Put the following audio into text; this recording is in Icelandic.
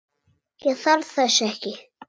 Ég þarf þess ekki.